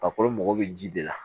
Farikolo mago bɛ ji de la